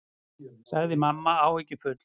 sagði mamma áhyggjufull.